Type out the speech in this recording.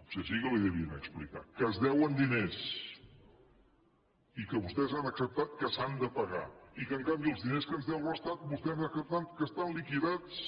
potser sí que li devien explicar que es deuen diners i que vostès han acceptat que s’han de pagar i que en canvi els diners que ens deu l’estat vostès han acceptat que estan liquidats